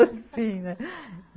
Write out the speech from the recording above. Assim, né?